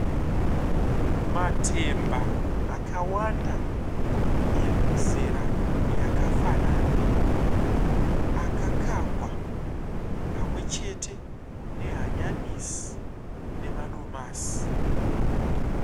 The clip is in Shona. Matemba akawanda emuzera yakafanana akakangwa pamwe chete nehanyanisi nemadomasi.